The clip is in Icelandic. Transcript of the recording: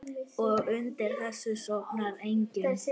Og undir þessu sofnar enginn.